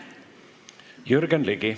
Jürgen Ligi.